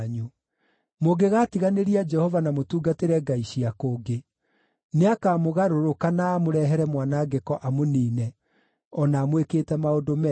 Mũngĩgaatiganĩria Jehova na mũtungatĩre ngai cia kũngĩ, nĩakamũgarũrũka na amũrehere mwanangĩko amũniine, o na amwĩkĩte maũndũ mega.”